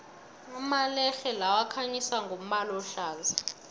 amalerhe lawa akhanyisa ngombala ohlaza